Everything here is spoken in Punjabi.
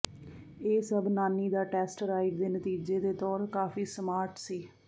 ਇਹ ਸਭ ਨਾਨੀ ਦਾ ਟੈਸਟ ਰਾਈਡ ਦੇ ਨਤੀਜੇ ਦੇ ਤੌਰ ਕਾਫ਼ੀ ਸਮਾਰਟ ਸੀ